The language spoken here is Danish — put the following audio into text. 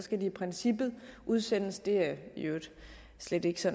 skal de i princippet udsendes det er i øvrigt slet ikke så